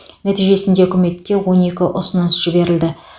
нәтижесінде үкіметке он екі ұсыныс жіберілді